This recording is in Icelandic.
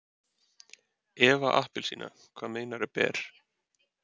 Eva appelsína, hvað meinaru ber?